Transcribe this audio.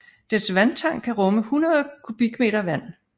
Dets vandtank kan rumme 100 m3 vand